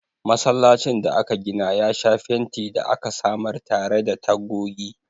Masallacin da aka gina ya sha fenti da aka samar tare da tagogi.